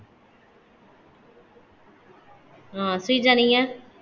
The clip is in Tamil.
ஹம் ஸ்ரீஜா நீங்க